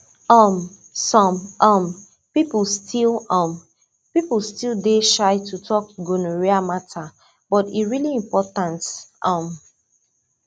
um some um people still um people still dey shy to talk gonorrhea matter but e really important um